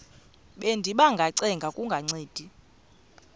bendiba ngacenga kungancedi